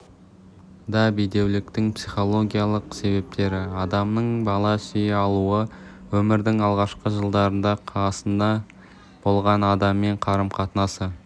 да бедеуліктің психологиялық себептері адамның бала сүйе алуына өмірдің алғашқы жылдарында қасында болған адаммен қарым-қатынасы